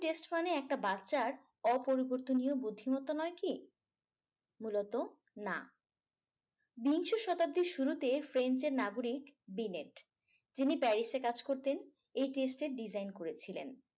test মানে একটা বাচ্চার অপরিবর্তনীয় বুদ্ধিমত্তা নয় কি মূলত না বিংশ শতাব্দীর শুরুতে french এর নাগরিক binet যিনি paris এ কাজ করতেন এই test এর design করেছিলেন